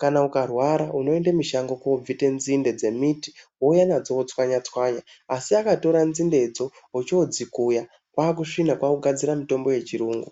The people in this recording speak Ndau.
kana ukarwara unoende mushango ko bvite nzinde dze miti wouya nadzo wotswanya tswanya asi akatora nzinde dzo ocho dzikuya kwa kusvina kwaku gadzira mutombo ye chirungu.